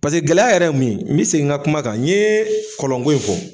Paseke gɛlɛya yɛrɛ ye mun ye n bɛ segin n ka kuma kan n ye kɔlɔn ko in fɔ